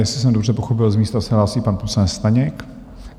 Jestli jsem dobře pochopil, z místa se hlásí pan poslanec Staněk.